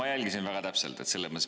Ma jälgisin seda väga täpselt.